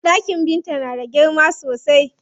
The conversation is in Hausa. Ɗakin Binta na da girma sosai.